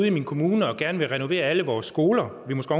i min kommune gerne vil renovere alle vores skoler og vi måske